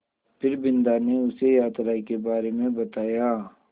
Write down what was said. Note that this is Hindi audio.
फिर बिन्दा ने उसे यात्रा के बारे में बताया